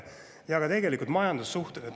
Ja ka majandussuhted.